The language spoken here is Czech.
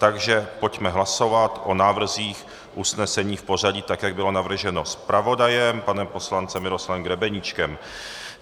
Takže pojďme hlasovat o návrzích usnesení v pořadí, tak jak bylo navrženo zpravodajem panem poslancem Miroslavem Grebeníčkem.